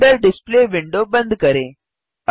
render display window बंद करें